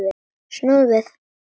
Snúðu við!